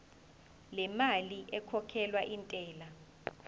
lemali ekhokhelwa intela